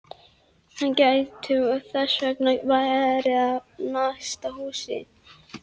Hann gæti þess vegna verið í næsta húsi!